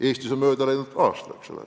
Eestis on mööda läinud aasta, eks ole.